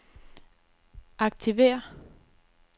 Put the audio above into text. aktiver